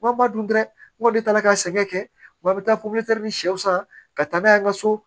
Wa ba dun dɛ n ko ne taara ka sɛŋɛ kɛ wa n bɛ taa popilɛtiri de sɛw san ka taa n'a ye n ka so